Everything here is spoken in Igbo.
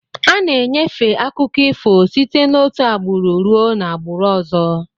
Ana-enyefe akụkọ ifo site òtù agbụrụ ruo n'agbụrụ ọzọ.